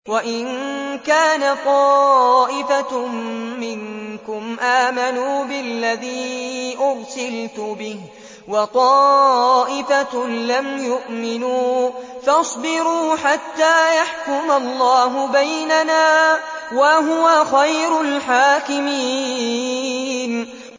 وَإِن كَانَ طَائِفَةٌ مِّنكُمْ آمَنُوا بِالَّذِي أُرْسِلْتُ بِهِ وَطَائِفَةٌ لَّمْ يُؤْمِنُوا فَاصْبِرُوا حَتَّىٰ يَحْكُمَ اللَّهُ بَيْنَنَا ۚ وَهُوَ خَيْرُ الْحَاكِمِينَ